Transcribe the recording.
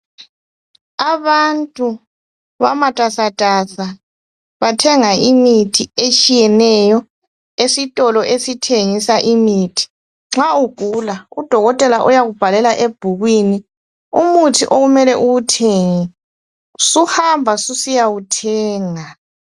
Abantu bamatasatasa, bathenga imithi etshiyeneyo, esitolo esithengisa imithi. Nxa ugula, udokotela uyakubhalela ebhukhwini, umuthi okumele uwuthenge, suhamba susiyawuthenga.